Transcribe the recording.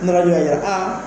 N nana a